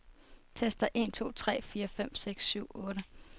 Tester en to tre fire fem seks syv otte.